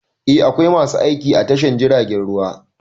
Eh, akwai masu aiki a tashar jiragen ruwa.